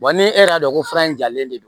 ni e y'a dɔn ko fura in jalen de don